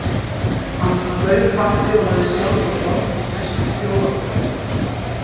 Hann bauð kaffi og lagði sjálfur á borð, mest þjófapör reyndar.